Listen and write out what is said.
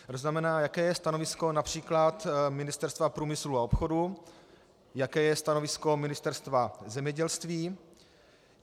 To znamená, jaké je stanovisko například Ministerstva průmyslu a obchodu, jaké je stanovisko Ministerstva zemědělství.